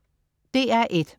DR1: